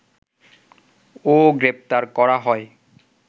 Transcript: ও গ্রেপ্তার করা হয়